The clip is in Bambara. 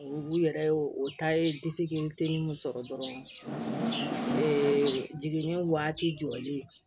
U yɛrɛ ye o ta ye n terimu sɔrɔ dɔrɔn jiginni waati jɔlen